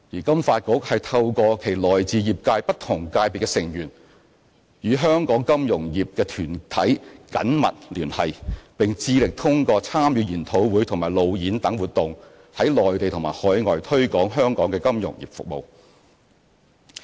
金發局透過其來自業界不同界別的成員，與香港金融業團體緊密聯繫，並致力通過參與研討會和路演等活動在內地和海外推廣香港的金融服務業。